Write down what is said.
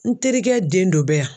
N terikɛ den dɔ bɛ yan.